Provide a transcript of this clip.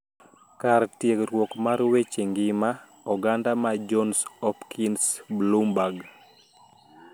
Kar tiegruok mar weche ngima oganda ma Johns Hopkins Bloomberg,